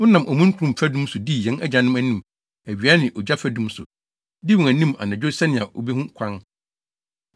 Wonam omununkum fadum so dii yɛn agyanom anim awia ne ogya fadum so, dii wɔn anim anadwo sɛnea wobehu kwan.